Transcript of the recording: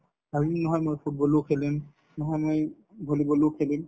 ভাবিব নহয় মই football ও খেলিম নহয় মই volleyball ও খেলিম